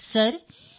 sir B